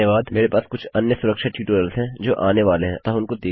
मेरे पास कुछ अन्य सुरक्षा ट्यूटोरियल्स हैं जो आने वाले हैं अतः उनको देखिये